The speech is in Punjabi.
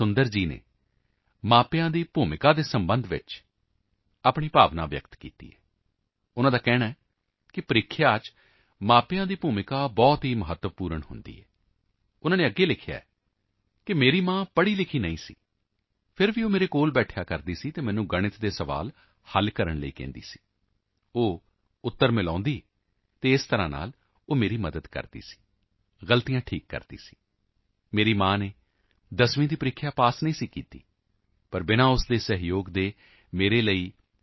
ਸੁੰਦਰ ਜੀ ਨੇ ਮਾਪਿਆਂ ਦੀ ਭੂਮਿਕਾ ਦੇ ਸਬੰਧ ਵਿੱਚ ਆਪਣੀ ਭਾਵਨਾ ਪ੍ਰਗਟ ਕੀਤੀ ਹੈ ਉਨ੍ਹਾਂ ਦਾ ਕਹਿਣਾ ਹੈ ਕਿ ਪ੍ਰੀਖਿਆ ਵਿੱਚ ਮਾਪਿਆਂ ਦੀ ਭੂਮਿਕਾ ਬਹੁਤ ਹੀ ਮਹੱਤਵਪੂਰਨ ਹੁੰਦੀ ਹੈ ਉਨ੍ਹਾਂ ਨੇ ਅੱਗੇ ਲਿਖਿਆ ਹੈਮੇਰੀ ਮਾਂ ਪੜ੍ਹਾਈ ਲਿਖੀ ਨਹੀਂ ਸੀ ਫਿਰ ਵੀ ਉਹ ਮੇਰੇ ਕੋਲ ਬੈਠਦੀ ਸੀ ਅਤੇ ਮੈਨੂੰ ਗਣਿਤ ਦੇ ਸੁਆਲ ਹੱਲ ਕਰਨ ਲਈ ਕਹਿੰਦੀ ਸੀ ਉਹ ਉੱਤਰ ਮਿਲਾਉਂਦੀ ਅਤੇ ਇਸ ਤਰ੍ਹਾਂ ਨਾਲ ਉਹ ਮੇਰੀ ਮਦਦ ਕਰਦੀ ਸੀ ਗਲਤੀਆਂ ਠੀਕ ਕਰਦੀ ਸੀ ਮੇਰੀ ਮਾਂ ਨੇ ਦਸਵੀਂ ਦੀ ਪ੍ਰੀਖਿਆ ਪੱਸ ਨਹੀਂ ਕੀਤੀ ਪਰ ਬਿਨਾਂ ਉਸ ਦੇ ਸਹਿਯੋਗ ਤੋਂ ਮੇਰੇ ਲਈ c